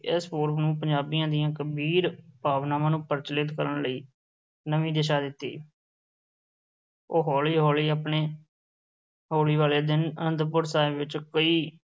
ਇਸ ਪੁਰਬ ਨੂੰ ਪੰਜਾਬੀਆਂ ਦੀਆਂ ਬੀਰ-ਭਾਵਨਾਵਾਂ ਨੂੰ ਪ੍ਰਜਵੱਲਿਤ ਕਰਨ ਲਈ ਨਵੀਂ ਦਿਸ਼ਾ ਦਿੱਤੀ ਉਹ ਹੌਲੀ ਹੌਲੀ ਆਪਣੇ ਹੋਲੀ ਵਾਲੇ ਦਿਨ ਅਨੰਦਪੁਰ ਸਾਹਿਬ ਵਿੱਚ ਕਈ